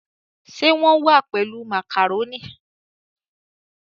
Ṣe wón wá pèlú macaroni?